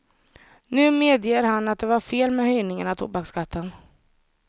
Nu medger han att det var fel med höjningen av tobaksskatten.